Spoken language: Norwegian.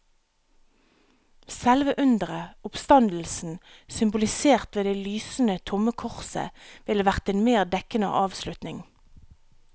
Selve undret, oppstandelsen, symbolisert ved det lysende, tomme korset, ville vært en mer dekkende avslutning.